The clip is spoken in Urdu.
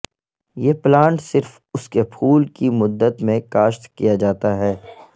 یہ پلانٹ صرف اس کے پھول کی مدت میں کاشت کیا جاتا ہے